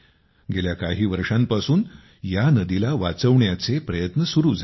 गेल्या काही वर्षांपासून या नदीला वाचविण्याचे प्रयत्न सुरु झाले आहेत